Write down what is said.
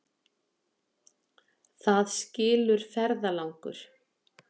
Það skilur ferðalangur.